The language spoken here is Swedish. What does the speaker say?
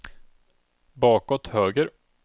bakåt höger